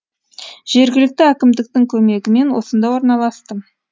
жергілікті әкімдіктің көмегімен осында орналастым